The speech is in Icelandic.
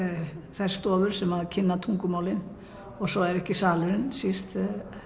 þær stofur sem kenna tungumálin og svo er salurinn ekki síst